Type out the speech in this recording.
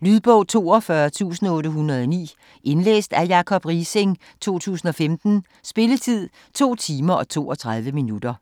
Lydbog 42809 Indlæst af Jacob Riising, 2015. Spilletid: 2 timer, 32 minutter.